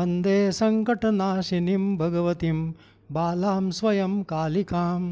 वन्दे सङ्कटनाशिनीं भगवतीं बालां स्वयं कालिकाम्